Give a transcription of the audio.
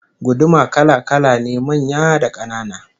Guduma kala-kala ne, manya da kanana